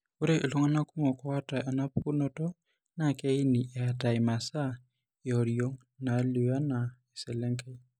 Ore iltung'anak kumok oata enapukunoto naa keini eata imasaa eoriong' naalio anaa eselengei.